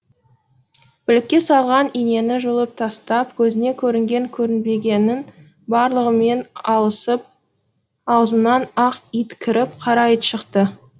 білекке салған инені жұлып тастап көзіне көрінген көрінбегеннің барлығымен алысып аузынан ақ ит кіріп қара ит шықты